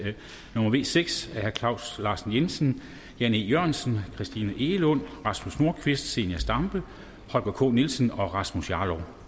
n v seks af claus larsen jensen jan e jørgensen christina egelund rasmus nordqvist zenia stampe holger k nielsen og rasmus jarlov